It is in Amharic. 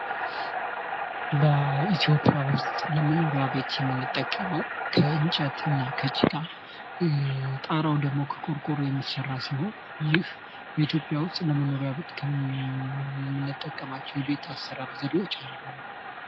በኢትዮጵያ ዉስጥ ለመኖሪያ ቤት የምንጠቀመው ከእንጨት እና ከጭቃ ጣሪያው ደግሞ ከቆርቆሮ የሚሰራ ሲሆን፤ ይህ በኢትዮጵያ ዉስጥ ለመኖሪያ ቤት ከምንጠቀማቸው የቤት አሰራር ዘዴዎች አንዱ ነው።